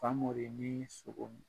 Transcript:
Famori nii sogo